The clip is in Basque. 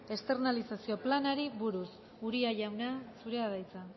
esternalizazio planari buruz uria jauna zurea da hitza